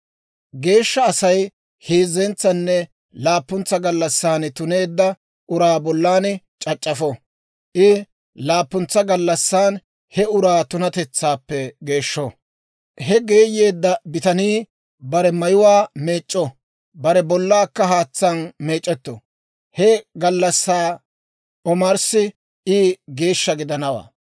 Geeshsha Asay heezzentsanne laappuntsa gallassan tuneedda uraa bollan c'ac'c'afo. I laappuntsa gallassan he uraa tunatetsaappe geeshsho; he geeyeedda bitanii bare mayuwaa meec'c'o; bare bollaakka haatsaan meec'etto; he gallassaa omarssi I geeshsha gidanawaa.